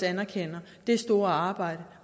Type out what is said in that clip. anerkender det store arbejde